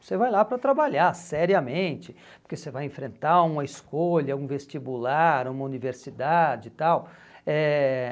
Você vai lá para trabalhar seriamente, porque você vai enfrentar uma escolha, um vestibular, uma universidade e tal. Eh